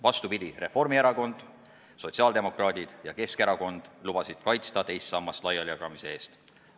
Vastupidi, Reformierakond, sotsiaaldemokraadid ja Keskerakond lubasid kaitsta teist sammast laialijagamise eest.